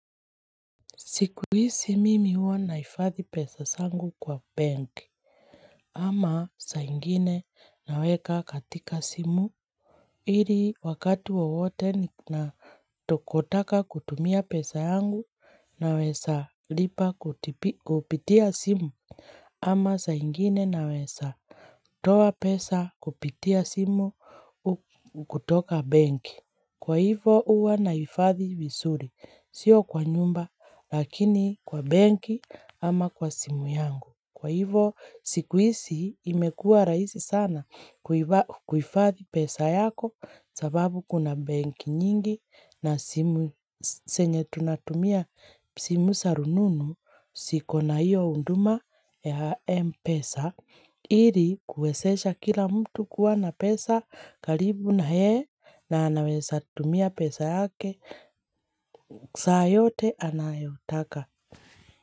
Sikuhizi, mimi huwa naifadhi pesa zangu kwa bank, ama saa nyingine naweka katika simu, ili wakati wowote ninatokotaka kutumia pesa yangu naweza lipa kupitia simu, ama saa nyingine naweza toa pesa kupitia simu kutoka benki. Kwa hivo huwa nahifadhi vizuri. Sio kwa nyumba, lakini kwa benki ama kwa simu yangu. Kwa hivo sikuhizi, imekuwa rahisi sana kuhifadhi pesa yako sababu kuna benki nyingi na zenye tunatumia simu za rununu ziko na hiyo huduma ya M-pesa. Ili kuwezesha kila mtu kuwa na pesa karibu naye na anaweza tumia pesa yake saa yote anayotaka.